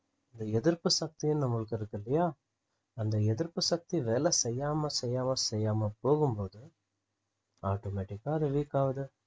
அந்த எதிர்ப்புசக்தின்னு நமளுக்கு இருக்கில்லையா அந்த எதிர்ப்புசக்தி வேலை செய்யாம செய்யாம செய்யாம போகும்போது automatic ஆ அது weak ஆகுது